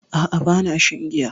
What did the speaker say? A'a bana shan giya